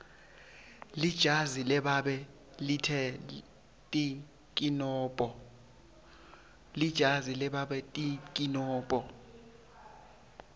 lijazi lababe lite tinkinombo